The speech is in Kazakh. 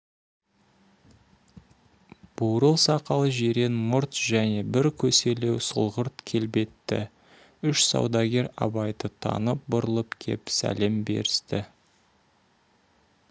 бурыл сақал жирен мұрт және бір көселеу сұрғылт келбетті үш саудагер абайды танып бұрылып кеп сәлем берісті